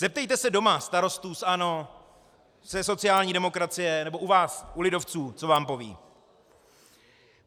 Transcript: Zeptejte se doma starostů z ANO, ze sociální demokracie nebo u vás u lidovců, co vám povědí.